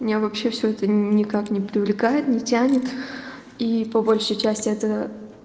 меня вообще все это никак не привлекает не тянет и по большей части это